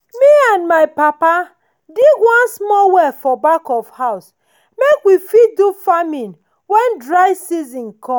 me and my papa dig one small well for back of house make we fit do farming when dry season come.